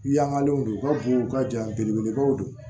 Yangalenw don u ka bon u ka ja belebelebaw don